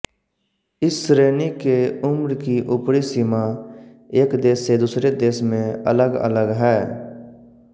इस श्रेणी के उम्र की उपरी सीमा एक देश से दूसरे देश में अलगअलग है